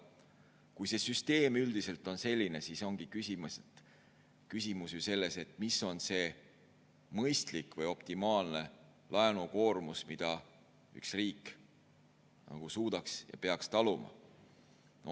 Kui see süsteem üldiselt on selline, siis ongi küsimus ju selles, mis on see mõistlik või optimaalne laenukoormus, mida üks riik suudaks taluda ja peaks taluma.